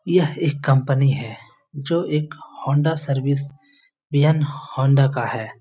यह एक कंपनी है जो एक हो हौंडा सर्विस वियन हौंडा का है।